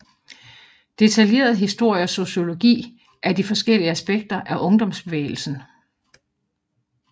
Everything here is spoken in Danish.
Detaljeret historie og sociologi af de forskellige aspekter af ungdomsbevægelsen